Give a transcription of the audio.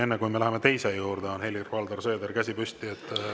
Enne kui me läheme teise juurde, on Helir-Valdor Seedril käsi püsti.